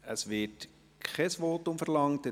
Es wird kein Votum verlangt.